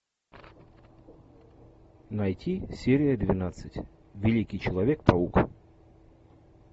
найти серия двенадцать великий человек паук